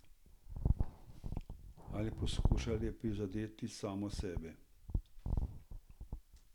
Ali poskuša le prizadeti samo sebe?